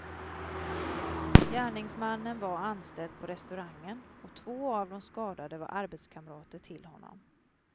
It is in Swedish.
Gärningsmannen var anställd på restaurangen och två av de skadade var arbetskamrater till honom.